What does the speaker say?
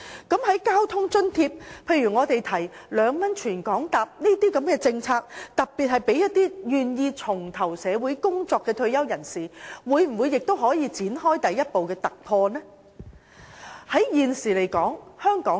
在交通津貼方面，我們建議2元乘車優惠政策的受惠對象應特別包括願意重投社會工作的退休人士，政府能否展開第一步的突破呢？